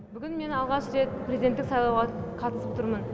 бүгін мен алғаш рет президенттік сайлауға қатысып тұрмын